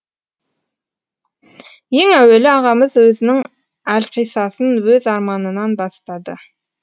ең әуелі ағамыз сөзінің әлқиссасын өз арманынан бастады